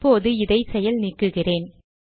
இப்போது இதை செயல் நீக்குகிறேன்